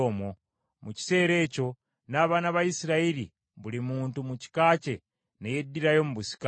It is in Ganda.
Mu kiseera ekyo n’abaana ba Isirayiri buli muntu mu kika kye ne yeddirayo mu busika bwe.